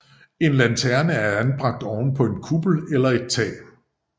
En lanterne er anbragt oven på en kuppel eller et tag